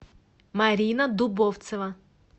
марина дубовцева